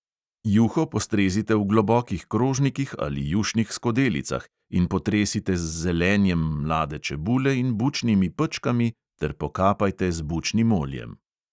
Juho postrezite v globokih krožnikih ali jušnih skodelicah in potresite z zelenjem mlade čebule in bučnimi pečkami ter pokapajte z bučnim oljem.